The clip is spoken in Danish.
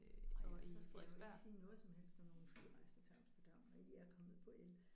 Ej så skal jeg jo ikke sige noget som helst om nogle flyrejser til Amsterdam når I er kommet på el